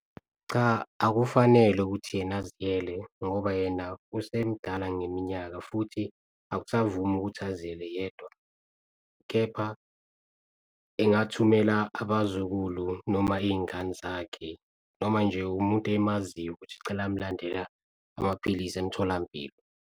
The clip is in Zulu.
Cha, akufanele ukuthi yena aziyele ngoba yena usemdala ngeminyaka, futhi akusavumi ukuthi aziyele yedwa kepha engathumela abazukulu noma iy'ngane zakhe. Noma nje umuntu emaziyo ukuthi cela amulandela amaphilisi emtholampilo.